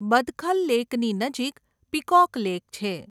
બદખલ લેકની નજીક peacock lake છે.